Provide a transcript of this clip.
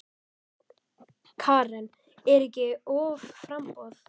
Karen: Er ekki offramboð?